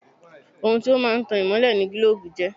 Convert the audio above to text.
Ohun tí ó máa ń tan ìmọ́lẹ̀ ni gílóòbù jẹ́